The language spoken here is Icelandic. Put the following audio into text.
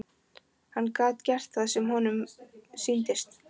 Hann gat gert það sem honum sýndist.